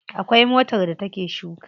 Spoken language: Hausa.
Akwai motar da ta ke shuka.